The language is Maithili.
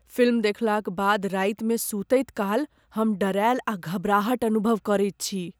फिल्म देखलाक बाद रातिमे सुतैत काल हम डेरायल आ घबराहट अनुभव करैत छी।